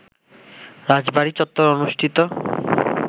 রাজবাড়ী চত্বরে অনুষ্ঠিত